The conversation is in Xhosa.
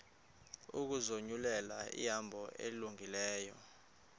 ukuzinyulela ihambo elungileyo